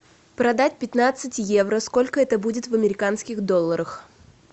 продать пятнадцать евро сколько это будет в американских долларах